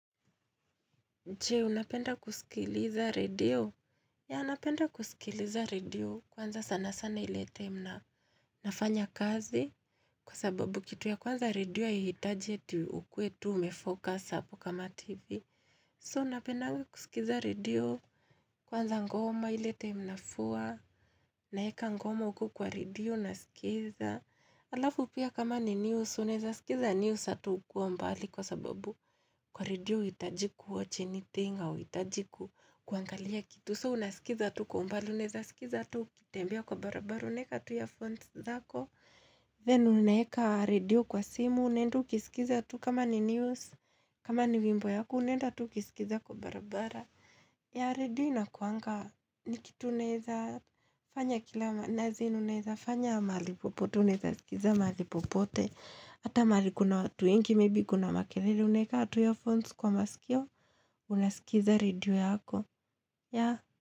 Je unapenda kusikiliza radio? Ya, unapenda kusikiliza radio kwanza sana sana ilete mnafanya kazi kwa sababu kitu ya kwanza radio ya hitaji eti ukwe tu umefokas hapu kama TV. So, unapenda kusikiza radio kwanza ngoma ilete mnafua naeka ngoma uku kwa radio na skiza. Alafu pia kama ni news uneza sikiza newsa tu kwa mbali kwa sababu kwa radio itajiku woche nitinga o itajiku kuangalia kitu so unasikiza tu kwa mbali uneza sikiza tu kitembia kwa barabara uneka tu ya font dhako ya, unapenda kusikiliza radio kwanza sana sana ile time mnafanya kazi kwa sababu kitu ya kwanza radio ya hitaji eti ukwe tu umefocus hapo kama TV. Kama ni wimbo yaku unendu kisikiza kwa barabara ya radio inakuangka nikitu uneza fanya kila nazi, uneza fanya mali popote, uneza skiza mali popote Hata mali kuna watu ingi, maybe kuna makelele, uneka atu yo phones kwa masikio Unasikiza radio yako, ya.